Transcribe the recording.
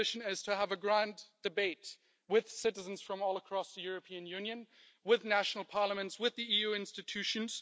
Our ambition is to have a grand debate with citizens from all across the European Union, with national parliaments, with the EU institutions.